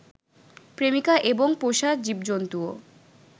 প্রেমিকা এবং পোষা জীবজন্তুও